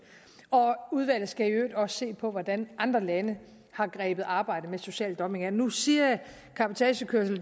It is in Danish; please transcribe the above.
udvalget skal i øvrigt også se på hvordan andre lande har grebet arbejdet med social dumping an nu siger jeg cabotagekørsel